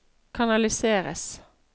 kanaliseres